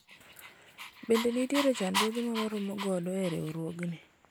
bende nitiere chandruoge ma waromo godo e riwruogni ?